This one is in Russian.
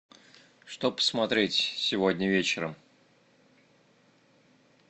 что посмотреть сегодня вечером